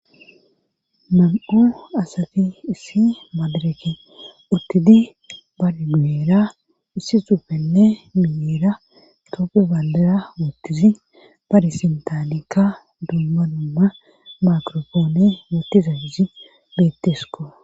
mam7u asati issi maadareke uttidi bargu7eera issi zupenne miira toope ballara woottizi barisintaalikka duumma numma makrofoone wootiza gizi bettesko